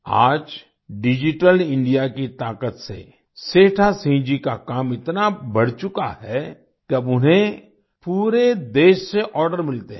आज digital India की ताकत से सेठा सिंह जी का काम इतना बढ़ चुका है कि अब उन्हें पूरे देश से आर्डर मिलते हैं